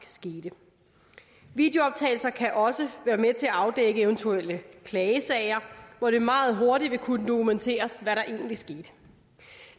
sket videooptagelser kan også være med til at afdække eventuelle klagesager hvor det meget hurtigt vil kunne dokumenteres hvad der egentlig skete